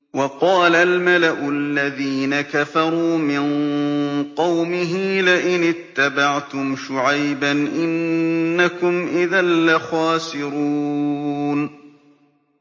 وَقَالَ الْمَلَأُ الَّذِينَ كَفَرُوا مِن قَوْمِهِ لَئِنِ اتَّبَعْتُمْ شُعَيْبًا إِنَّكُمْ إِذًا لَّخَاسِرُونَ